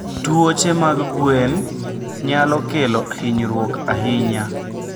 Tuoche mag gwen nyalo kelo hinyruok ahinya.